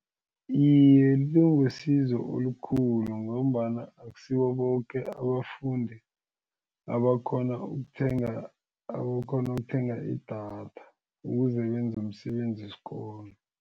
Iye, libe wusizo olukhulu ngombana akusibo boke abafundi abakhona ukuthenga abakhona ukuthenga idatha ukuze benze umsebenzi wesikolo.